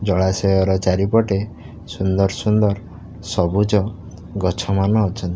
ଜଳାଶୟ ର ଚାରିପଟେ ସୁନ୍ଦର୍ ସୁନ୍ଦର୍ ସବୁଜ ଗଛ ମାନ ଅଛନ୍ତି।